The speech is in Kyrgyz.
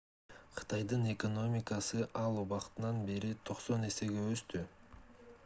кытайдын экономикасы ал убакыттан бери 90 эсеге өстү